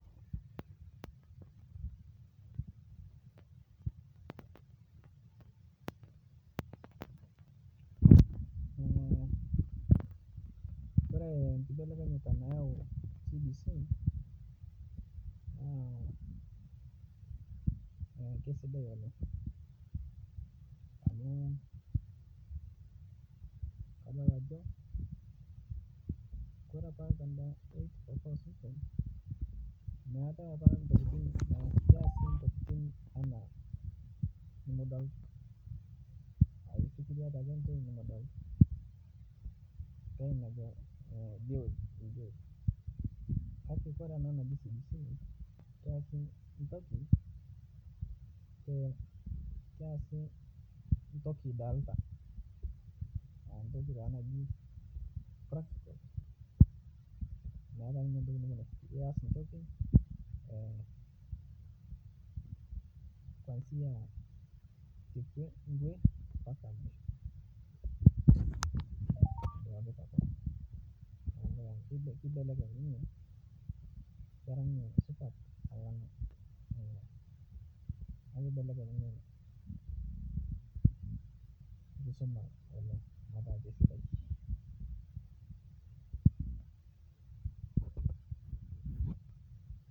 Kore kibelekenyata nayau cbc naa keisidai woleng amu kaadol Ajo Kore apa te eight-four-four system metai apa ntokin keyasi ntokin ana nimidol aaku ifikiria ntoki nimidol nkae naji teori kake Kore ana naa keasi ntoki idalita ntoki naji practical metae ntoki nimias kwansia nkwe mpaka misho iduakita koon, naaku keibeleny ninye kera ninye supat alang dia keibeleny ninye nkisuma oleng aaku keisidai.